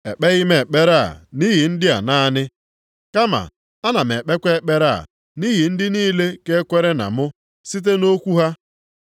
“Ekpeghị m ekpere a nʼihi ndị a naanị. Kama ana m ekpekwa ekpere a nʼihi ndị niile ga-ekwere na mụ, site nʼokwu ha.